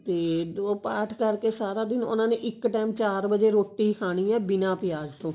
ਤੇ ਉਹ ਪਾਠ ਕਰਕੇ ਸਾਰਾ ਦਿਨ ਉਹਨਾ ਨੇ ਇੱਕ ਟੈਮ ਚਾਰ ਵਜੇ ਰੋਟੀ ਖਾਣੀ ਏ ਬਿਨਾ ਪਿਆਜ ਤੋਂ